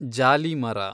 ಜಾಲಿ ಮರ